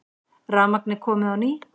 Rafmagnið komið á ný